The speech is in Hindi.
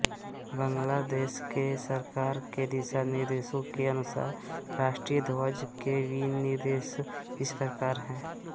बांग्लादेश के सरकार के दिशा निर्देशों के अनुसार राष्ट्रीय ध्वज के विनिर्देश इस प्रकार हैं